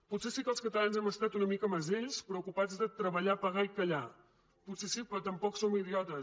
potser sí que els catalans hem estat una mica mesells preocupats de treballar pagar i callar potser sí però tampoc som idiotes